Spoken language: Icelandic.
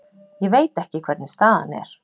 Ég veit ekki hvernig staðan er.